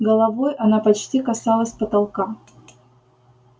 головой она почти касалась потолка